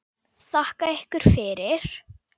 Þakka ykkur fyrir!